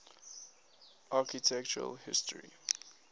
architectural history